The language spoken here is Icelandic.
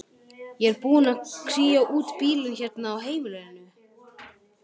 Ég er búin að kría út bílinn hérna á heimilinu.